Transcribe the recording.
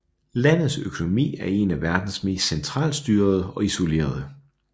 Landets økonomi er en af verdens mest centralstyrede og isolerede